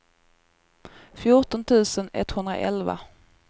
fjorton tusen etthundraelva